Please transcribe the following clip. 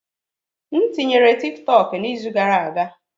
M tinyere TikTok n'izu gara aga.